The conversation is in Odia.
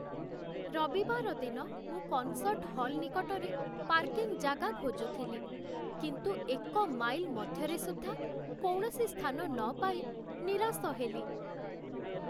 ରବିବାର ଦିନ ମୁଁ କନସର୍ଟ ହଲ୍ ନିକଟରେ ପାର୍କିଂ ଜାଗା ଖୋଜୁଥିଲି, କିନ୍ତୁ ଏକ ମାଇଲ୍ ମଧ୍ୟରେ ସୁଦ୍ଧା କୌଣସି ସ୍ଥାନ ନ ପାଇ ନିରାଶ ହେଲି।